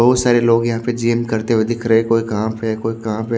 बहुत सारे लोग यहां पर जिम करते हुए दिख रहे कोई कहां पे कोई कहां पे --